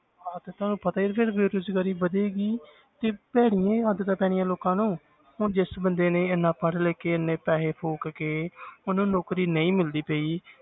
ਹਾਂ ਤੇ ਤੁਹਾਨੂੰ ਪਤਾ ਹੀ ਹੈ ਫਿਰ ਬੇਰੁਜ਼ਗਾਰੀ ਵਧੇਗੀ ਹੀ ਤੇ ਭੈੜੀਆਂ ਹੀ ਆਦਤਾਂ ਪੈਣੀਆਂ ਲੋਕਾਂ ਨੂੰ ਹੁਣ ਜਿਸ ਬੰਦੇ ਨੇ ਇੰਨਾ ਪੜ੍ਹ ਲਿਖ ਕੇ ਇੰਨੇ ਪੈਸੇ ਫ਼ੂਕ ਕੇ ਉਹਨੂੰ ਨੌਕਰੀ ਨਹੀਂ ਮਿਲਦੀ ਪਈ